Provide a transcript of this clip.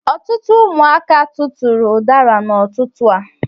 Ọtụtụ ụmụaka tụtụrụ udara n'ututu a